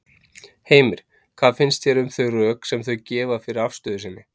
Heimir: Hvað finnst þér um þau rök sem þau gefa fyrir afstöðu sinni?